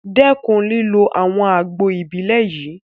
Dẹ́kun lílo àwọn àgbo Ìbílẹ̀ yìí!